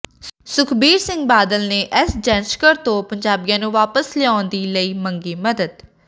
ਸੁਖਬੀਰ ਸਿੰਘ ਬਾਦਲ ਨੇ ਐਸ ਜੈਸ਼ੰਕਰ ਤੋਂ ਪੰਜਾਬੀਆਂ ਨੂੰ ਵਾਪਸ ਲਿਆਉਣ ਦੇ ਲਈ ਮੰਗੀ ਮਦਦ